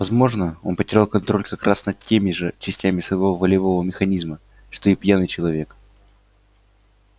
возможно он потерял контроль как раз над теми же частями своего волевого механизма что и пьяный человек